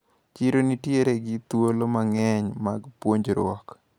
Chiro nitiere gi thuolo mang`eny mar puonjruok.